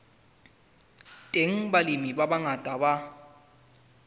teng balemi ba bangata ba